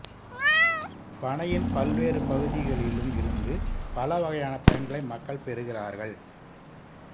பனையின் பல்வேறு பகுதிகளிலும் இருந்து பலவகையான பயன்களை மக்கள் பெறுகிறார்கள்